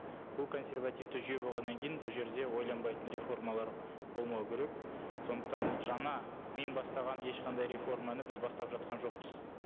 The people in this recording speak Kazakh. бұл консевративті жүйе болғаннан кейін бұл жерде ойланбайтын реформалар болмау керек сондықтан жаңа мен бастаған ешқандай реформаны біз бастап жатқан жоқпыз